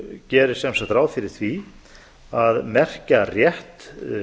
gerir sem sagt ráð fyrir því að merkja rétt